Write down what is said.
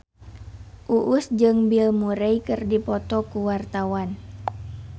Uus jeung Bill Murray keur dipoto ku wartawan